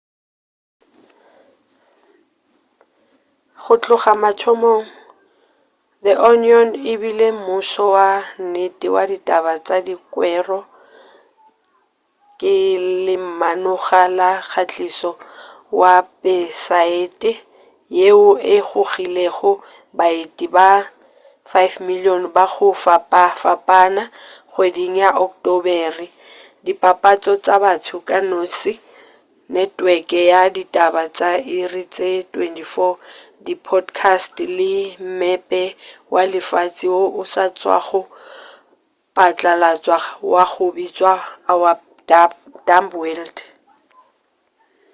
go tloga mathomong the onion e bile mmušo wa nnete wa ditaba tša dikwero ka lemanoga la kgatišo wepesaete yeo e gogilego baeti ba 5,000,000 ba go fapafapana kgweding ya ocktobere dipapatšo tša batho ka noši netweke ya ditaba tša iri tše 24 di podcasts le mmepe wa lefase wo o sa tšwago patlalatšwa wa go bitšwa our dumb world